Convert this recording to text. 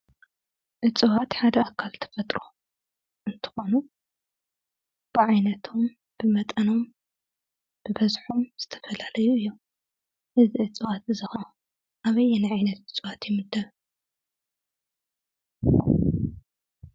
እፅዋት ሓደ ኣካል ተፈጥሮ እንትኾኑ ብዓይነቶም፣ ብመጠኖም፣ ብበዝሖም ዝተፈላለዩ እዮም፡፡ እዚ እፅዋት ከዓ ኣበየናይ እፅዋት እዩ ዝምደብ?